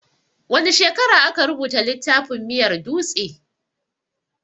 Wane shekara aka rubuta littafin miyar dutse?